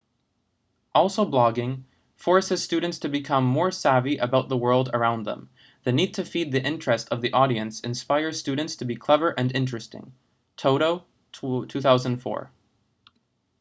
also blogging forces students to become more savvy about the world around them. the need to feed the interest of the audience inspires students to be clever and interesting toto 2004